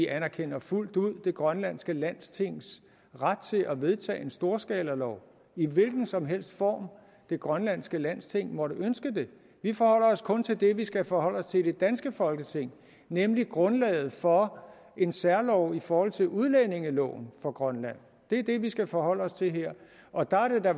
anerkender fuldt ud det grønlandske landstings ret til at vedtage en storskalalov i hvilken som helst form det grønlandske landsting måtte ønske det vi forholder os kun til det vi skal forholde os til i det danske folketing nemlig grundlaget for en særlov i forhold til udlændingeloven for grønland det er det vi skal forholde os til her og der er det da